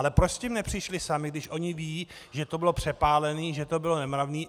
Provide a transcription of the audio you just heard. Ale proč s tím nepřišli sami, když oni vědí, že to bylo přepálené, že to bylo nemravné?